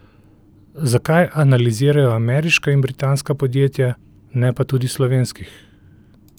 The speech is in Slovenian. Zakaj analizirajo ameriška in britanska podjetja, ne pa tudi slovenskih?